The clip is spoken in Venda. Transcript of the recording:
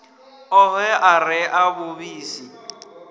ohe a re a vhuvhusi